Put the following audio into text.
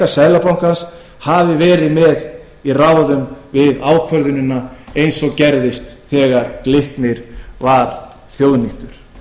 seðlabankans hafi verið með í ráðum við ákvörðunina eins og gerðist þegar glitnir var þjóðnýttur